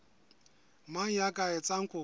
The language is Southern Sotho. mang ya ka etsang kopo